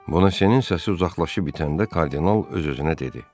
Bonasenin səsi uzaqlaşıb itəndə kardinal öz-özünə dedi: